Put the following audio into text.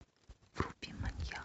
вруби маньяк